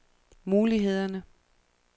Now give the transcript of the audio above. mulighederne